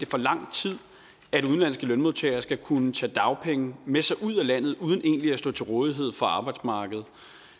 for lang tid at udenlandske lønmodtagere skal kunne tage dagpenge med sig ud af landet uden egentlig at stå til rådighed for arbejdsmarkedet